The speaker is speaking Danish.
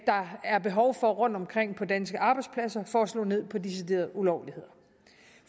der er behov for rundtomkring på danske arbejdspladser for at slå ned på deciderede ulovligheder